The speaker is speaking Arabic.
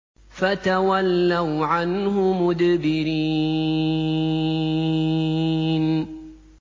فَتَوَلَّوْا عَنْهُ مُدْبِرِينَ